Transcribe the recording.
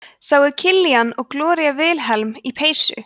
sáu killian og gloría vilhelm í peysu